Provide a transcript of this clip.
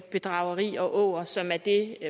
bedrageri og åger som er det